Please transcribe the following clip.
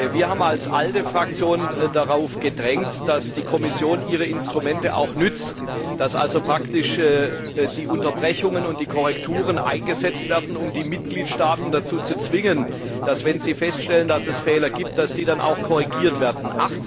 Wir haben als ALDE Fraktion darauf gedrängt, dass die Kommission ihre Instrumente auch nutzt, dass also praktisch die Unterbrechungen und die Korrekturen eingesetzt werden, um die Mitgliedstaaten dazu zu zwingen, dass für den Fall, dass Fehler festgestellt werden, diese dann auch korrigiert werden.